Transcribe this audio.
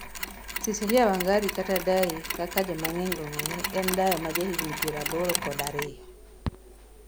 Cicilia Wangari kata dai kaka jomang'eny ong'eye en dayo ma ja higni piero aboro kod ariyo